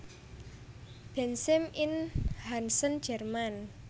Bensheim ing Hessen Jerman